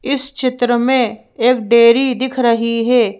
इस चित्र में एक डेयरी दिख रही है।